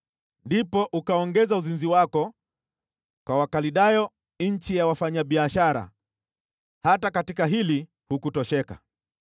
Ndipo ukaongeza uzinzi wako kwa Wakaldayo nchi ya wafanyabiashara, hata katika hili hukutosheka.